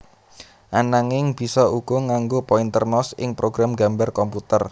Ananging bisa uga nganggo pointer mouse ing program nggambar komputer